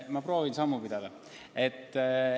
Ma proovin teiega sammu pidada.